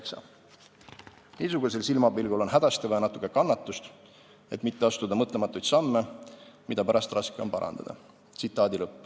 Niisugusel silmapilgul on hädasti vaja natuke kannatust, et mitte astuda mõtlematuid samme, mida pärast raske on parandada.